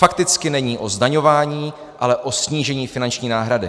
Fakticky není o zdaňování, ale o snížení finanční náhrady.